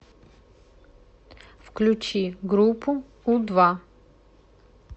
включи группу у два